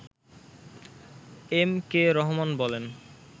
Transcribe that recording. M K Rahman বলেন